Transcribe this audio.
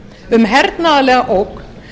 um hernaðarlega ógn